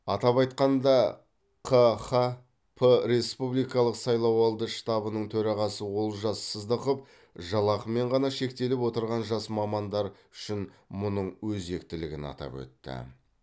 атап айтқанда қхп республикалық сайлауалды штабының төрағасы олжас сыздықов жалақымен ғана шектеліп отырған жас мамандардар үшін мұның өзектілігін атап өтті